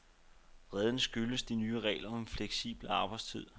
Vreden skyldes de nye regler om fleksibel arbejdstid.